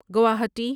Guwahati